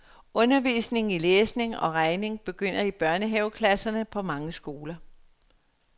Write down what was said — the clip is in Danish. Undervisning i læsning og regning begynder i børnehaveklasserne på mange skoler.